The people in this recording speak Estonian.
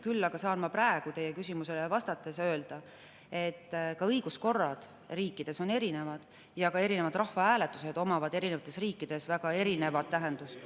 Küll aga saan ma praegu teie küsimusele vastates öelda, et ka õiguskorrad riikides on erinevad ja erinevad rahvahääletused omavad erinevates riikides väga erinevat tähendust.